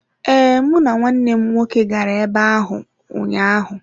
Ee, mụ na nwanne m nwoke gara ebe ahụ ahụ ụnyaahụ.